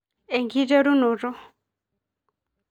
Enkiterunoto